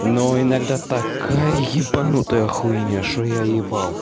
но иногда такая ебанутая хуйня что я ебал